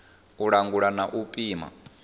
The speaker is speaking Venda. u langula na u pima